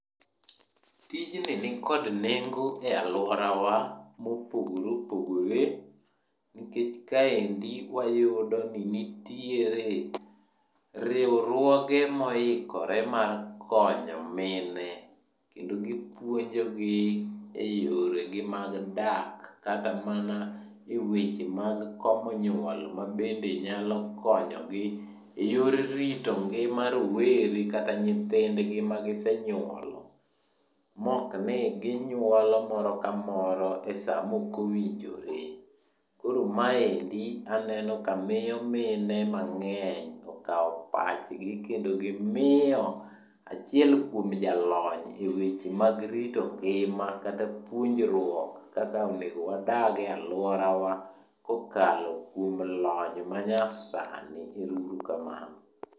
Tijni nikod nengo e alworawa mopogore opogore nikech kaendi wayudoni nitiere riwruoge moikore mar konyo mine. Kendo gipuonjogi e yoregi mag dak, kata mana e weche mag komo nyuol mabende nyalo konyogi e yor rito ngima rowere kata nyithindgi magisenyuolo. Mokni ginyuolo moro kamoro esamokowinjore. Koro maendi aneno ka miyo mine mang'eny okawo pachgi kendo gimiyo achiel kuom jalony e weche mag rito ngima kata puonjruok kaka onego wadage alworawa kokalo kuom lony manyasani. Ero uru kamano.